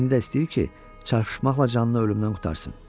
İndi də istəyir ki, çarpışmaqla canını ölümdən qurtarsın.